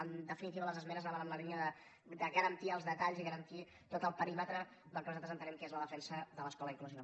en definitiva les esmenes anaven en la línia de garantir els detalls i garantir tot el perímetre del que nosaltres entenem que és la defensa de l’escola inclusiva